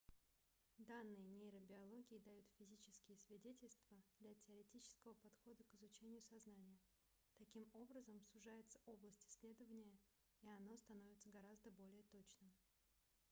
данные нейробиологии дают физические свидетельства для теоретического подхода к изучению сознания таким образом сужается область исследования и оно становится гораздо более точным